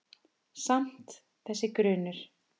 Samt- þessi grunur.